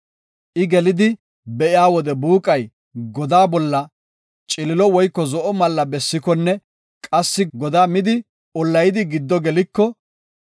I gelidi be7iya wode buuqay godaa bolla ciliilo woyko zo7o malla bessikonne qassi godaa midi ollayidi giddo geliko,